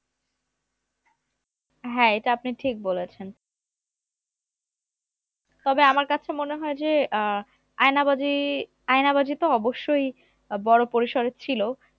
হ্যাঁ এটা আপনি ঠিক বলেছেন তবে আমার কাছে মনে হয় যে আহ আয়নাবাজি আয়নাবাজি তো অবশ্যই আহ বড় পরিসরের ছিল